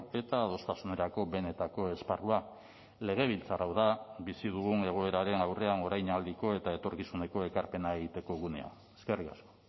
eta adostasunerako benetako esparrua legebiltzar hau da bizi dugun egoeraren aurrean orainaldiko eta etorkizuneko ekarpena egiteko gunea eskerrik asko